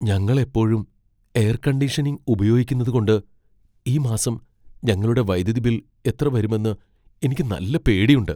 ഞങ്ങൾ എപ്പോഴും air conditioning ഉപയോഗിക്കുന്നതുകൊണ്ട് ഈ മാസം ഞങ്ങളുടെ വൈദ്യുതി ബിൽ എത്ര വരുമെന്ന് എനിക്ക് നല്ല പേടിയുണ്ട്.